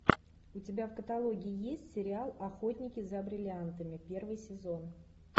у тебя в каталоге есть сериал охотники за бриллиантами первый сезон